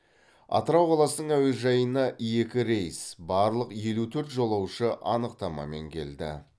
атырау қаласының әуежайына екі рейс барлық елу төрт жолаушы анықтамамен келді